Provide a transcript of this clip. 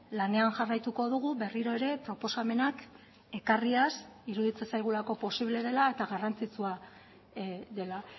lanean jarraituko dugu berriro ere proposamenak ekarriaz iruditzen zaigulako posible dela eta garrantzitsua dela